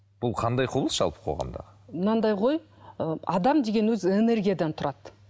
бұл қандай құбылыс жалпы қоғамда мынандай ғой ы адам деген өзі энергиядан тұрады